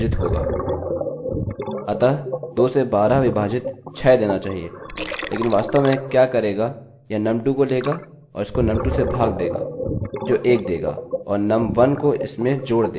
लेकिन वास्तव में यह क्या करेगा यह num2 को लेगा और इसको num2 से भाग देगा जो 1 देगा और num1 को इसमें जोड़ देगा